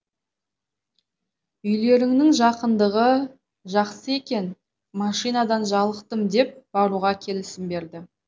үйлеріңнің жақындығы жақсы екен машинадан жалықтым деп баруға келісім берді